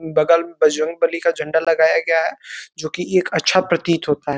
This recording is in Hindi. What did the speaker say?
बगल बजरंग बली का झंडा लगाया गया है जो कि एक अच्छा प्रतीत होता है।